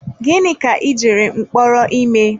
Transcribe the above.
Gịnị ka ị gara mkpọrọ ime.